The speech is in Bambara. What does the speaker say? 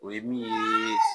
O ye min ye